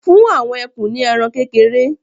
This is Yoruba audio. fún àwọn ekun ní ẹran kékeré